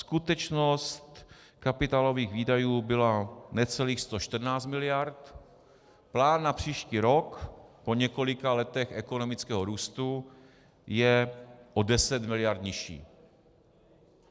Skutečnost kapitálových výdajů byla necelých 114 miliard, plán na příští rok po několika letech ekonomického růstu je o 10 miliard nižší.